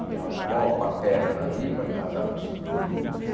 A minha avó paterna era viva, casada em Segundas Núpcias.